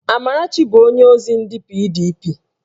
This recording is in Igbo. Amarachi bụ onyeozi ndị PDP